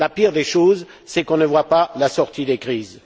La pire des choses, c'est qu'on n'entrevoie pas la sortie des crises.